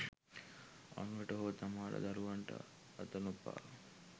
අනුනට හෝ තම දරුවන්ටවත් අත නොපා